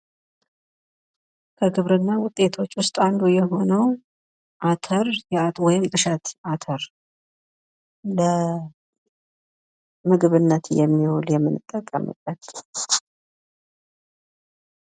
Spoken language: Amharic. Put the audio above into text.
ከግብርና ውጤቶች ውስጥ አንዱ የሆነው አተር ወይም እሸት አተር ለምግብነት የሚውል የምንጠቀምበት።